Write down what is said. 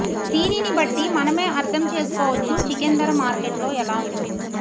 దీనిని బట్టి మనమే అర్ధం చేసుకోవచ్చు చికెన్ ధర మార్కెట్లో ఎలా ఉందొ